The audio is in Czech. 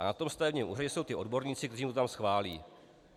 A na tom stavebním úřadě jsou ti odborníci, kteří to tam schválí.